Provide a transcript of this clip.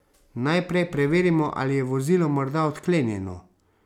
Najprej preverimo, ali je vozilo morda odklenjeno.